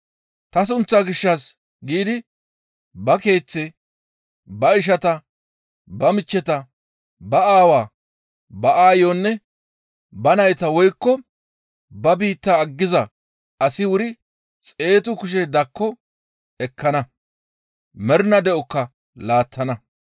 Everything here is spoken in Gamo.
Ta sunththaa gishshas giidi ba keeththe, ba ishata, ba michcheta, ba aawa, ba aayonne ba nayta, woykko ba biitta aggiza asi wuri xeetu kushe dakko ekkana; mernaa de7okka laattana.